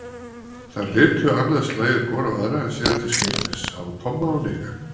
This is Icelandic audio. Þær litu annað slagið hvor á aðra en síðan til skiptist á Tomma og Nikka.